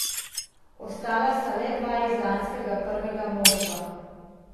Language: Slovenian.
Ostala sta le dva iz lanskega prvega moštva.